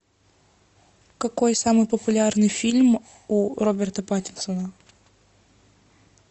какой самый популярный фильм у роберта паттинсона